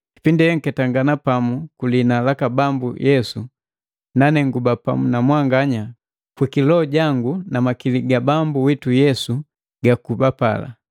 Kipindi enketangana pamu ku lihina laka Bambu Yesu, nane nguba pamu na mwanganya kwi kiloho jangu na makili gaka Bambu witu Yesu gakuba pala,